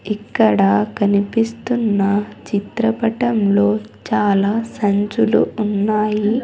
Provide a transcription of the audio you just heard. ఇక్కడ కనిపిస్తున్న చిత్ర పటం లో చాలా సంచులు ఉన్నాయి.